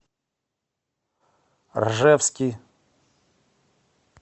ржевский